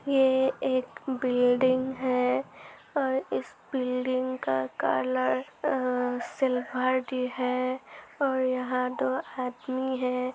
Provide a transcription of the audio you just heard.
ये एक बिल्डिंग है और इस बिल्डिंग का कलर अ सिलवर्ड है और यहाँ दो आदमी हैं।